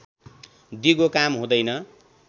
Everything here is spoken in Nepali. दिगो काम हुँदैन